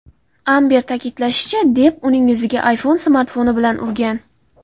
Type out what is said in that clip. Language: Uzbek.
Amber ta’kidlashicha, Depp uning yuziga iPhone smartfoni bilan urgan.